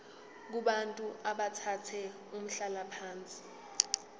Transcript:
kubantu abathathe umhlalaphansi